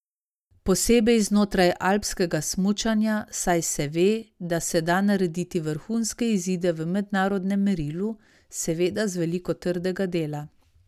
Posebej znotraj alpskega smučanja, saj se ve, da se da narediti vrhunske izide v mednarodnem merilu, seveda z veliko trdega dela.